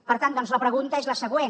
per tant doncs la pregunta és la següent